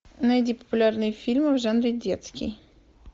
найди популярные фильмы в жанре детский